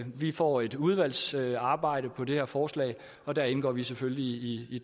vi får et udvalgsarbejde om det her forslag og der indgår vi selvfølgelig i i